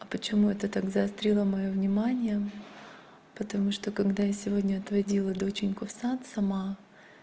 а почему это так заострило моё внимание потому что когда я сегодня отводила доченьку в сад сама